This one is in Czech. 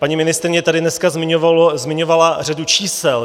Paní ministryně tady dneska zmiňovala řadu čísel.